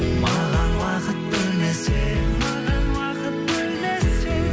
маған уақыт бөлмесең маған уақыт бөлмесең